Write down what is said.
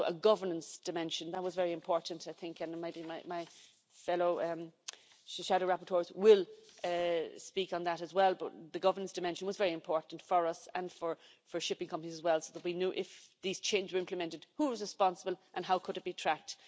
And also a governance dimension, that was very important I think, and maybe my fellow shadow rapporteurs will speak on that as well, but the governance dimension was very important for us and for shipping companies as well, so that we knew if these changes were implemented who was responsible and how could it be tracked.